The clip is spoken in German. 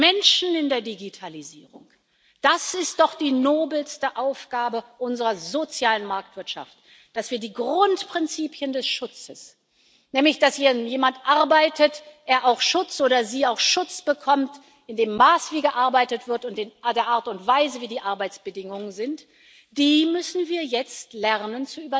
Die Menschen in der Digitalisierung das ist doch die nobelste Aufgabe unserer sozialen Marktwirtschaft, dass wir die Grundprinzipien des Schutzes, nämlich, dass wenn hier jemand arbeitet, er oder sie auch Schutz bekommt in dem Maß, wie gearbeitet wird, und der Art und Weise der Arbeitsbedingungen, bei denen wir jetzt lernen